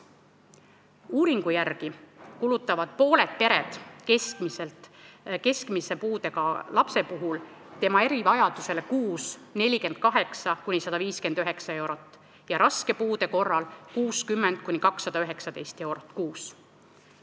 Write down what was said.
Uuringu järgi kulutavad pooled pered keskmise puudega lapse erivajadusele kuus 48–159 eurot ja raske puude korral kulutatakse 60–219 eurot kuus.